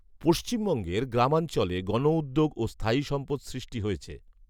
পশ্চিমবঙ্গের গ্রামাঞ্চলে গণউদ্যোগ ও স্থায়ী সম্পদ সৃষ্টি হয়েছে